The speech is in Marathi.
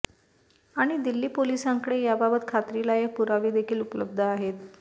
आणि दिल्ली पोलिसांकडे याबाबत खात्रीलायक पुरावे देखील उपलब्ध आहेत